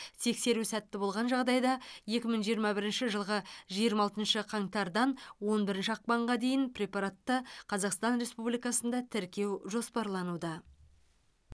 тексеру сәтті болған жағдайда екі мың жиырма бірінші жылғы жиырма алтыншы қаңтардан он бірінші ақпанға дейін препаратты қазақстан республикасында тіркеу жоспарлануда